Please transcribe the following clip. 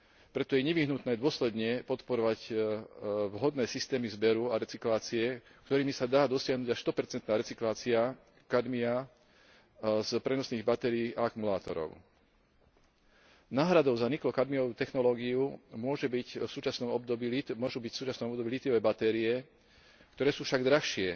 Preto je nevyhnutné dôsledne podporovať vhodné systémy zberu a recyklácie, ktorými sa dá dosiahnuť až 100 recyklácia kadmia z prenosných batérií a akumulátorov. Náhradou za niklokadmiovú technológiu môžu byť v súčasnom období lítiové batérie, ktoré sú však drahšie